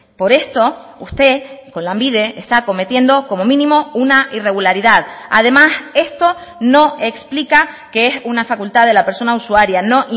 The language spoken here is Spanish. por esto usted con lanbide está cometiendo como mínimo una irregularidad además esto no explica que es una facultad de la persona usuaria no